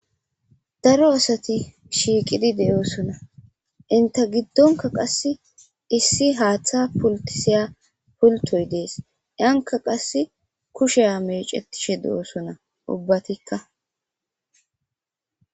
daro asati shiiqidi de7oosona inte giddonka qasse issi haaththa pultisiya pultoy dees yanka qasse kushe mecetishe de7oosona ubbatikka